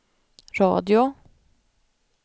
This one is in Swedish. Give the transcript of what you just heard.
radio